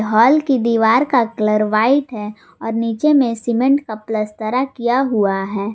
हाल की दीवार का कलर व्हाइट है और नीचे में सीमेंट का पलस्तरा किया हुआ है।